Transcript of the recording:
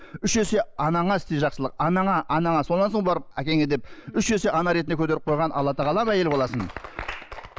үш есе анаңа істе жақсылық анаңа анаңа сонан соң барып әкеңе деп үш есе ана ретінде көтеріп қойған алла тағалам әйел баласын